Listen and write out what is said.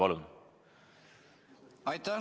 Aitäh!